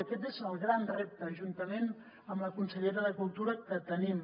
i aquest és el gran repte juntament amb la consellera de cultura que tenim